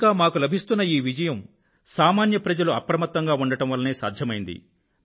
ఇంకా మాకు లభిస్తున్న ఈ విజయం సామాన్య ప్రజలు అప్రమత్తంగా ఉండడం వల్లనే సాధ్యమైంది